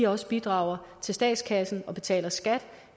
også bidrager til statskassen og betaler skat